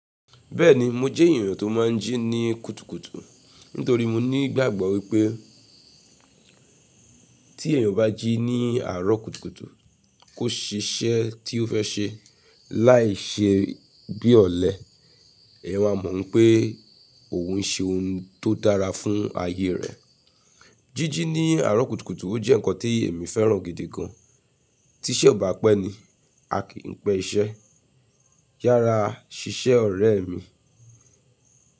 Bẹ́ẹ̀ni mo jẹ́ èèyàn tó máa ń jí ní kùtùkùtù nítorí mo ní ìgbàgbọ́ wípé tí èèyàn bá jí ní àárọ̀ kùtùkùtù kó ṣe iṣẹ́ tí ó fẹ́ ṣe láìṣe bí ọ̀lẹ, ẹ̀yẹn máa mọ̀ n pé òun ń ṣe ohun tó dára fún ayé rẹ̀. Jíjí ní àárọ̀ kùtùkùtù ó jẹ́ nǹkan tí èmi féràn gidi gan. “Tí iṣẹ́ ò bá pẹ́ ni, a kì í pẹ iṣẹ́.” Yára ṣiṣẹ́ ọ̀rẹ́ mi.